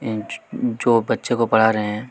Inch जो बच्चों को पढ़ा रहे हैं।